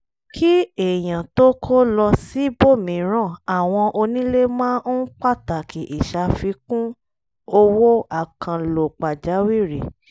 kí èyàn tó kó lọ síbòmíràn àwọn onílé máa ń pàtàkì ìṣàfikùn owó àkànlò pàjàwìrì